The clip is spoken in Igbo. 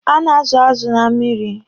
A na-azụ azụ na mmiri.